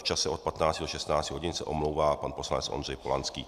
V čase od 15 do 16 hodin se omlouvá pan poslanec Ondřej Polanský.